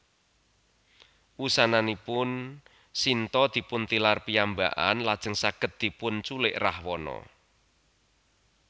Wusananipun Sinta dipuntilar piyambakan lajeng saged dipunculik Rawana